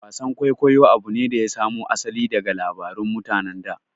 Wasan kwaikwayo abu ne da ya samo asali daga labarun mutanen da